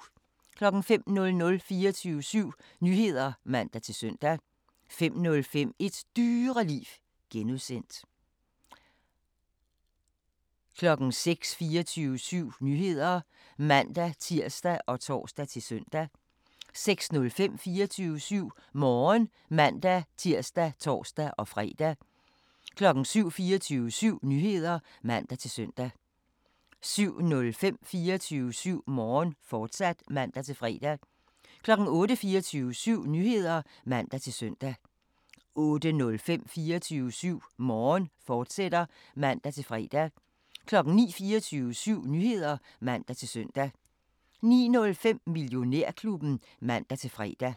05:00: 24syv Nyheder (man-søn) 05:05: Et Dyreliv (G) 06:00: 24syv Nyheder (man-tir og tor-søn) 06:05: 24syv Morgen (man-tir og tor-fre) 07:00: 24syv Nyheder (man-søn) 07:05: 24syv Morgen, fortsat (man-fre) 08:00: 24syv Nyheder (man-søn) 08:05: 24syv Morgen, fortsat (man-fre) 09:00: 24syv Nyheder (man-søn) 09:05: Millionærklubben (man-fre)